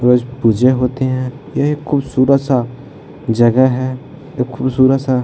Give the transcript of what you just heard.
रोज पूजा होते है ये खूबसूरत सा जगह है खुबसूरत सा --